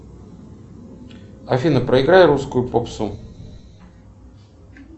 афина проиграй русскую попсу